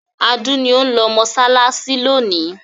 Adu ni ó ń lọ mọṣáláṣí lónìí.